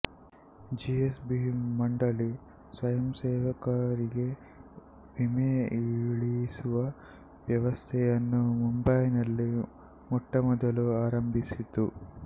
G S B ಮಂಡಳಿ ಸ್ವಯಂಸೇವಕರಿಗೆ ವಿಮೆ ಇಳಿಸುವ ವ್ಯವಸ್ಥೆಯನ್ನು ಮುಂಬೈನಲ್ಲಿ ಮೊಟ್ಟಮೊದಲು ಆರಂಭಿಸಿತು